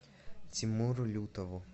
тимуру лютову